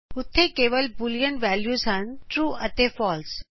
ਉੱਥੇ ਕੇਵਲ ਦੋ ਬੂਲੀਅਨ ਵੈਲਿਯੂਸ ਹਨ ਟਰੂ ਅਤੇ ਫਾਲਸੇ